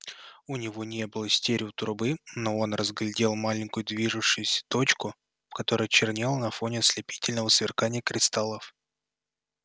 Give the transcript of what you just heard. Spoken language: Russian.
у него не было стереотрубы но он разглядел маленькую движущуюся точку которая чернела на фоне ослепительного сверкания кристаллов